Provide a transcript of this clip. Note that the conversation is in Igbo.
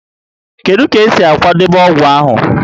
Kedu ka esi akwadebe ọgwụ ahụ?